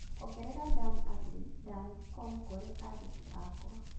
ongerera dan at dancom kũrĩ andĩki akwa